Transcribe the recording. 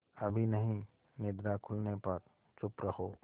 अभी नहीं निद्रा खुलने पर चुप रहो